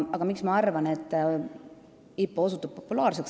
Aga miks ma arvan, et IPO osutub populaarseks?